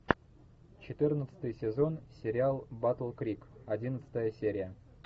четырнадцатый сезон сериал батл крик одиннадцатая серия